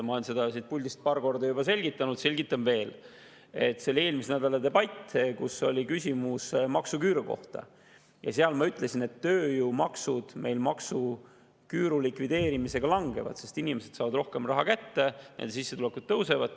Ma olen seda siit puldist juba paar korda selgitanud, selgitan veel: see oli eelmise nädala debatt, kus oli küsimus maksuküüru kohta ja ma ütlesin, et tööjõumaksud maksuküüru likvideerimisega langevad, sest inimesed saavad rohkem raha kätte, nende sissetulekud tõusevad.